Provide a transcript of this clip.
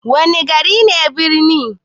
Wana gari ne birni?